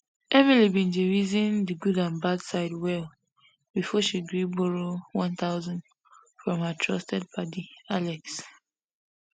emily bin reason di good and bad side well before she gree borrow one thpusand from her trusted padi alex